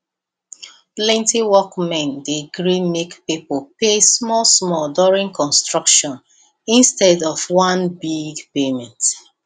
plenty workmen dey gree make people pay smallsmall during construction instead of one big payment